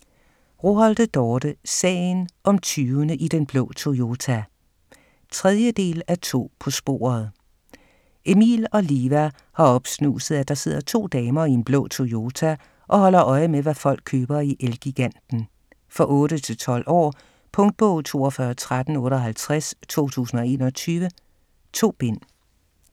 Roholte, Dorte: Sagen om tyvene i den blå Toyota 3. del af To på sporet. Emil og Liva har opsnuset at der sidder to damer i en blå Toyota og holder øje med hvad folk køber i El-giganten. For 8-12 år. Punktbog 421358 2021. 2 bind.